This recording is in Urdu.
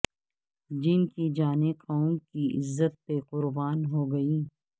جن کی جانیں قوم کی عزت پہ قرباں ہو گئیں